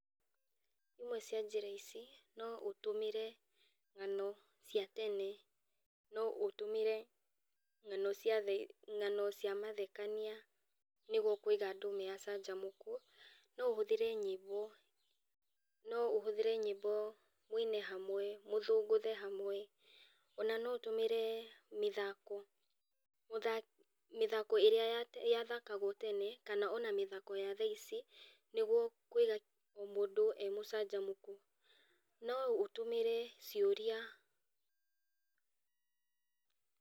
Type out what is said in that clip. Imwe cia njĩra ici, no ũtũmĩre ng'ano cia tene, no ũtũmĩre ng'ano cia mathekania nĩguo kũiga andũ maikare marĩ acanjamũku. No ũhũthĩre nyĩmbo mũine hamwe, mũthũngũthe hamwe, no ũtũmĩre mĩthako. Mĩthako ĩrĩa yathakaguo tene kana ĩrĩa irathakwo thaici nĩguo kũiga mũndũ emũcanjamũku. No ũtũmĩre ciũria.